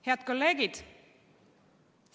Head kolleegid!